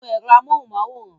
Nu èrò amóhunmáwòrán!